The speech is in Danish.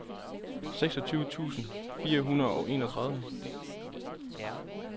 seksogtyve tusind fire hundrede og enogtredive